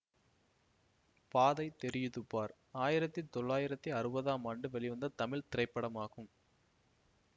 பாதை தெரியுது பார் ஆயிரத்தி தொளாயிரத்தி அறுபது ஆம் ஆண்டு வெளிவந்த தமிழ் திரைப்படமாகும்